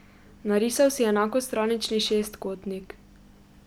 Narisal si enakostranični šestkotnik.